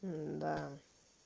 да